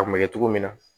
A kun bɛ kɛ cogo min na